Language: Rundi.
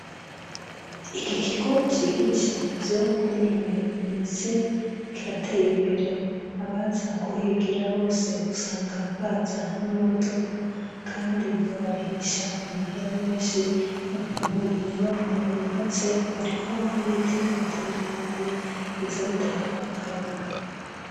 Ikikigi cigisha ivyo kwinonora imitsi kirateye imbere. Abaza kuhigira bose usanga baza nama modoka, kandi babarihisha amahera menshi ukuntu inyubakwa yubatswe, hariko n'ibiti bitandukanye biza bitanga n'akayaga.